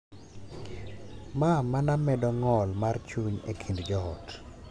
Ma mana medo ng’ol mar chuny e kind joot.